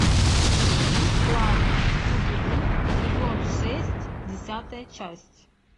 будь классным скуби ду сезон шесть десятая часть